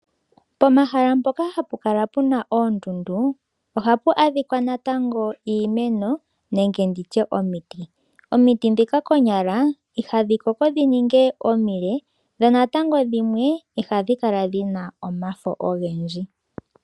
Pomahala mpoka hapukala puna oondundu ohapu adhikwa natango iimeno nenge nditye omiti. Omiti dhika konyala ihadhikoko dhininge omile, dho natango dhimwe ihadhikala dhina omafo ogendji.